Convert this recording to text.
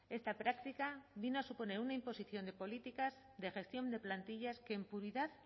esta práctica viene a suponer una imposición de políticas de gestión de plantillas que en puridad